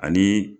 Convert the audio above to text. Ani